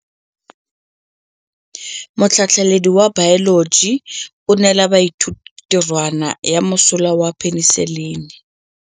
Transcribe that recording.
Motlhatlhaledi wa baeloji o neela baithuti tirwana ya mosola wa peniselene.